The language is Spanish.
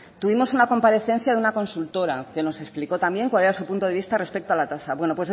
tuvimos una comparecencia de una consultora que nos explicó también cuál era su punto de vista respecto a la tasa bueno